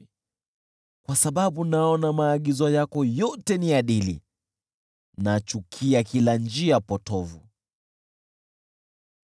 na kwa sababu naona maagizo yako yote ni adili, nachukia kila njia potovu.